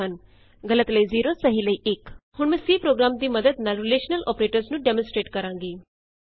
return values return values 0 ਜਦ ਗਲਤ ਹੈ 1 ਜਦ ਸਹੀ ਹੈ ਹੁਣ ਮੈਂ C ਪ੍ਰੋਗਰਾਮ ਦੀ ਮੱਦਦ ਨਾਲ ਰਿਲੇਸ਼ਨਲ ਅੋਪਰੇਟਰਸ ਨੂੰ ਡੈਮੋਸਟਰੈਟ ਕਰਾਂਗੀ